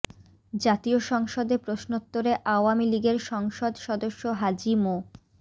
জাতীয় সংসদে প্রশ্নোত্তরে আওয়ামী লীগের সংসদ সদস্য হাজী মো